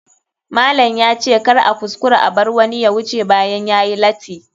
Malam ya ce kar a kuskura a bar wani ya wuce bayan yayi lati.